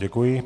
Děkuji.